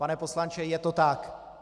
Pane poslanče, je to tak!